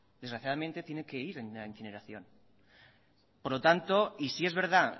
desgraciadamente tiene que ir en la incineración por lo tanto y sí es verdad